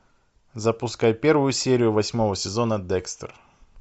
запускай первую серию восьмого сезона декстер